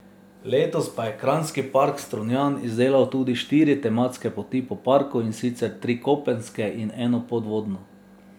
Letos pa je Krajinski park Strunjan izdelal tudi štiri tematske poti po parku in sicer tri kopenske in eno podvodno.